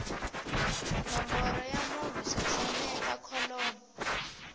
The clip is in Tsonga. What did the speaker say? nomboro ya munhu xaxameta kholomo